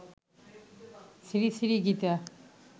Shri Shri Gita